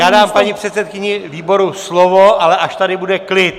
Já dám paní předsedkyni výboru slovo, ale až tady bude klid.